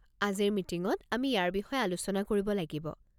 আজিৰ মিটিঙত আমি ইয়াৰ বিষয়ে আলোচনা কৰিব লাগিব।